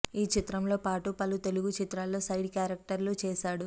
ఈ చిత్రంతో పాటు పలు తెలుగు చిత్రాల్లో సైడ్ క్యారెక్టర్లు చేసాడు